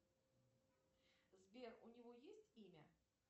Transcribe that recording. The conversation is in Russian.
сбер у него есть имя